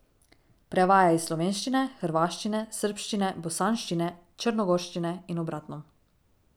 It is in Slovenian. Prevaja iz slovenščine, hrvaščine, srbščine, bosanščine, črnogorščine in obratno.